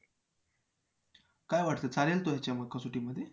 काय वाटतं चालेल तो याच्या कसोटीमध्ये?